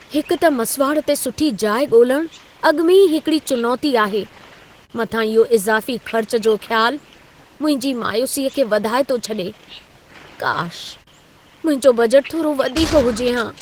हिकु त मसिवाड़ ते सुठी जाइ ॻोल्हणु अॻु में ई हिकड़ी चुनौती आहे, मथां इहो इज़ाफ़ी ख़र्च जो ख़्यालु मुंहिंजी मायूसीअ खे वधाए थो छॾे। काश, मुंहिंजो बजट थोरो वधीक हुजे हा।